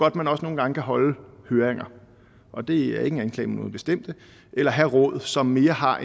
at man også nogle gange kan holde høringer og det er ikke en anklage mod nogen bestemte eller have råd som mere har